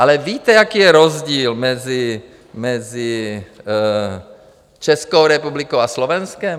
Ale víte, jaký je rozdíl mezi Českou republikou a Slovenskem?